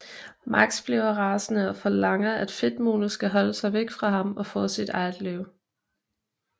Max bliver rasende og forlanger at Fedtmule skal holde sig væk fra ham og få sig sit eget liv